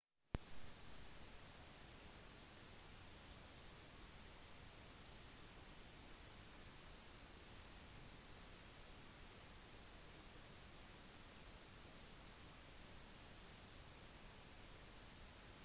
i tillegg til at månesonden bar med seg tre viktige vitenskapelige instrumenter hadde det et bilde av det indiske flagget malt på alle sider